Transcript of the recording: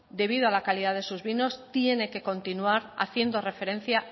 debido a la calidad de sus vinos tiene que continuar haciendo referencia